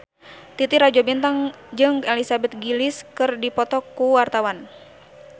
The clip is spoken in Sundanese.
Titi Rajo Bintang jeung Elizabeth Gillies keur dipoto ku wartawan